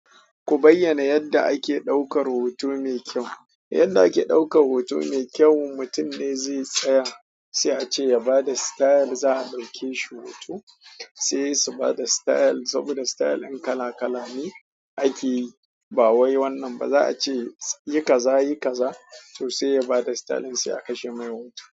Ku bayyana yadda ake ɗaukar hoto mai kyau. Yadda ake ɗaukar hoto mai kyau, mutum dai zai tsaya sai a ce ya ba da style za a ɗauke shi hoto. Sai su ba da style saboda style kala kala ne ake yi, ba wai wannan ba za a ce, yi kaza, yi kaza to sai ya ba da style sai a kashe mai hoto.